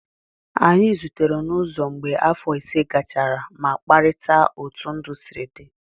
Anyị zutere n'ụzọ mgbe afọ ise gachara ma kparịta otú ndụ sịrị dị